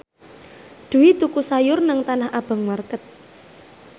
Dwi tuku sayur nang Tanah Abang market